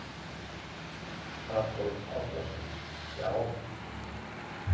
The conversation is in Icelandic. Adolf Árnason: Já.